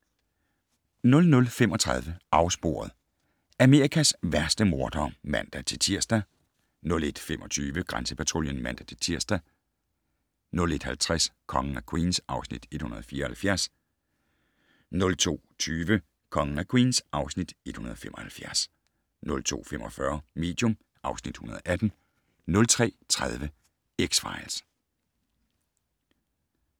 00:35: Afsporet - Amerikas værste mordere (man-tir) 01:25: Grænsepatruljen (man-tir) 01:50: Kongen af Queens (Afs. 174) 02:20: Kongen af Queens (Afs. 175) 02:45: Medium (Afs. 118) 03:30: X-Files